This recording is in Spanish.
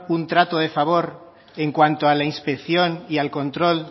un trato de favor en cuanto a la inspección y al control